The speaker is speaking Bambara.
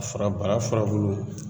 fura bara furabulu